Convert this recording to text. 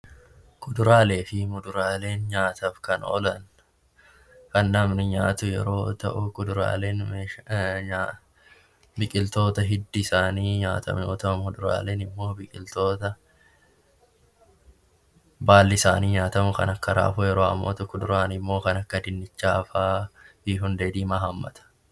Kuduraalee fi muduraaleen nyaataaf kan oolan kan namni nyaatu yoo ta'u, biqiloota hiddi isaanii nyaatamu yoo ta'u , muduraaleen immoo biqiloota baalli isaanii nyaatamu kan akka raafuu yoo ta'u kuduraan immoo kan akka dinnichaa fi hundee diimaa hammata